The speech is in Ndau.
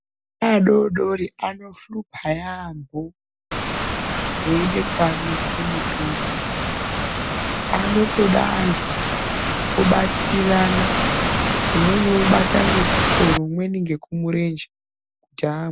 Ana adodori anohlupa yambo weide kuamwise mutombo, anotoda antu obatirirana umweni obate ngekusoro umweni ngekumurenje kuti amwe.